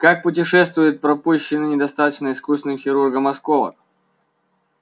как путешествует пропущенный недостаточно искусным хирургом осколок